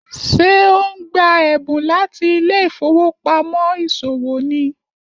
Ṣé o n gba ẹbun lati ilé ìfowópamọ́ isowo ni?